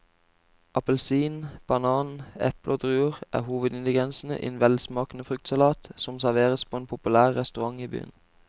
Appelsin, banan, eple og druer er hovedingredienser i en velsmakende fruktsalat som serveres på en populær restaurant i byen.